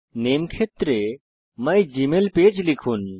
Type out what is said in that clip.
নামে ক্ষেত্রে মাইগমেইলপেজ লিখুন